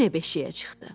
Yenə beşiyə çıxdı.